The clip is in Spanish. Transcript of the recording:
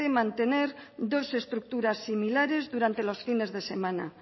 mantener dos estructuras similares durante los fines de semana